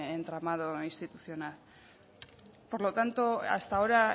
entramado institucional por lo tanto hasta ahora